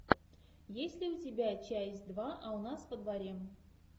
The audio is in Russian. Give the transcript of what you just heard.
есть ли у тебя часть два а у нас во дворе